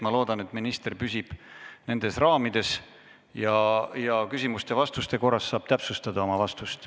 Ma loodan, et minister püsib nendes raamides ja küsimuste-vastuste korras saab täpsustada oma vastust.